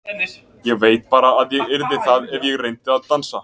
Ég veit bara að ég yrði það ef ég reyndi að dansa.